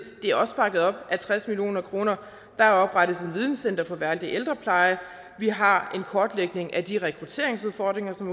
det er også bakket op af tres million kroner der oprettes et videnscenter for værdig ældrepleje vi har en kortlægning af de rekrutteringsudfordringer som